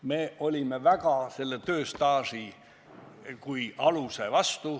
Me olime väga tööstaaži kui aluse vastu.